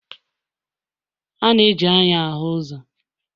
A na-eji anya ahụ uzo